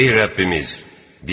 Ey Rəbbimiz!